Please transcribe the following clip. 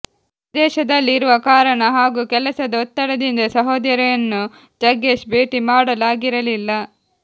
ವಿದೇಶದಲ್ಲಿ ಇರುವ ಕಾರಣ ಹಾಗೂ ಕೆಲಸದ ಒತ್ತಡದಿಂದ ಸಹೋದರಿಯನ್ನು ಜಗ್ಗೇಶ್ ಭೇಟಿ ಮಾಡಲು ಆಗಿರಲಿಲ್ಲ